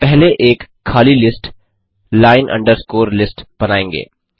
हम पहले एक खाली लिस्ट लाइन अंडरस्कोर लिस्ट बनायेंगे